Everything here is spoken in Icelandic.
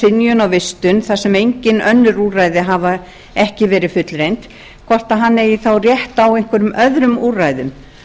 synjun á vistun þar sem úrræði hafa ekki verið fullreynd hvort hann eigi þá rétt á einhverjum öðrum úrræðum